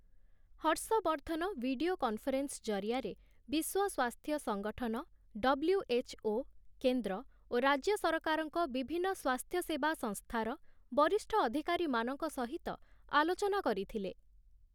Harshvardhan video conference ଜରିଆରେ ବିଶ୍ୱ ସ୍ୱାସ୍ଥ୍ୟ ସଂଗଠନ ଡବ୍ଲ୍ୟୁ.ଏଚ୍‌.ଓ., କେନ୍ଦ୍ର ଓ ରାଜ୍ୟ ସରକାରଙ୍କ ବିଭିନ୍ନ ସ୍ୱାସ୍ଥ୍ୟସେବା ସଂସ୍ଥାର ବରିଷ୍ଠ ଅଧିକାରୀମାନଙ୍କ ସହିତ ଆଲୋଚନା କରିଥିଲେ ।